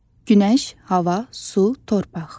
Günəş, hava, su, torpaq.